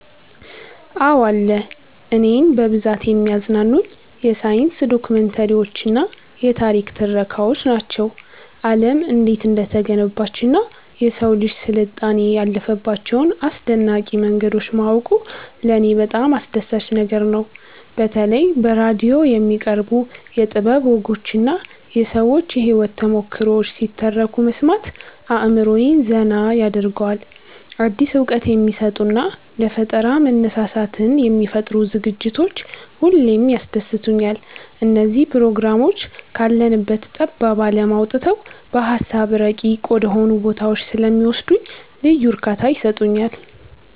አዎ አለ። እኔን በብዛት የሚያዝናኑኝ የሳይንስ ዶክመንተሪዎችና የታሪክ ትረካዎች ናቸው። ዓለም እንዴት እንደተገነባችና የሰው ልጅ ስልጣኔ ያለፈባቸውን አስደናቂ መንገዶች ማወቁ ለኔ በጣም አስደሳች ነገር ነው። በተለይ በራዲዮ የሚቀርቡ የጥበብ ወጎችና የሰዎች የህይወት ተሞክሮዎች ሲተረኩ መስማት አእምሮዬን ዘና ያደርገዋል። አዲስ እውቀት የሚሰጡና ለፈጠራ መነሳሳትን የሚፈጥሩ ዝግጅቶች ሁሌም ያስደስቱኛል። እነዚህ ፕሮግራሞች ካለንበት ጠባብ ዓለም አውጥተው በሃሳብ ረቂቅ ወደሆኑ ቦታዎች ስለሚወስዱኝ ልዩ እርካታ ይሰጡኛል።